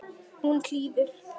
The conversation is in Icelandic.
Hún hlýðir.